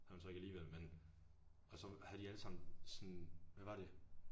Havde hun så ikke alligevel men. Og så havde de alle sammen sådan hvad var det?